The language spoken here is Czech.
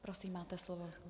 Prosím, máte slovo.